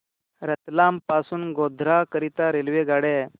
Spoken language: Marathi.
रतलाम पासून गोध्रा करीता रेल्वेगाड्या